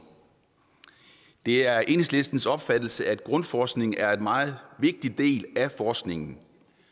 det er enhedslistens opfattelse at grundforskningen er en meget vigtig del af forskningen